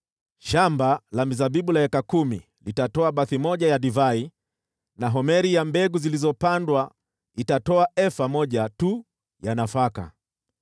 Shamba la mizabibu la eka kumi litatoa bathi moja ya divai, na homeri ya mbegu zilizopandwa itatoa efa moja tu ya nafaka.”